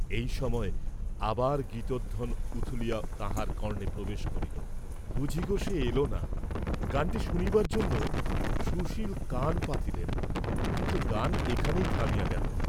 এই সময় আবার গীতধ্বন উথলিয়া তাঁহার কর্ণে প্রবেশ করিল, ' বুঝি গো সে এলনা'। গানটি শুনিবার জন্য সুশীল কান পাতিলেন, কিন্তু গান এখানেই থামিয়া গেল।